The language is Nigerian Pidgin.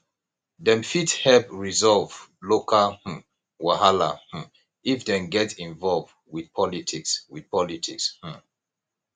dem fit help resolve local um wahala um if dem get involved with politics with politics um